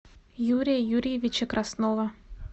юрия юрьевича краснова